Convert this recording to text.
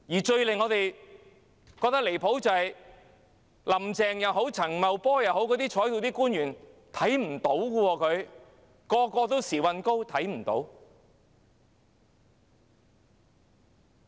最令我們感到離譜的是，無論是"林鄭"、陳茂波、各在席官員，全部都"時運高"，完全看不到。